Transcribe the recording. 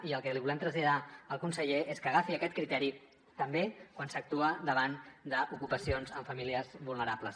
i el que li volem traslladar al conseller és que agafi aquest criteri també quan s’actua davant d’ocupacions amb famílies vulnerables